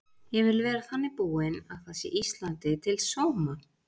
Ég vil vera þannig búin að það sé Íslandi til sóma.